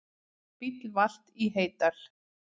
Bíll valt í Heydal